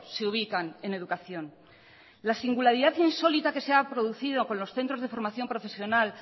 se ubican en educación la singularidad insólita que se ha producido con los centros de formación profesional